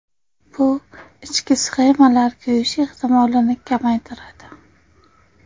Bu ichki sxemalar kuyishi ehtimolini kamaytiradi.